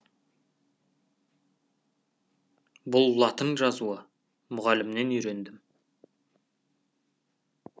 бұл латын жазуы мұғалімнен үйрендім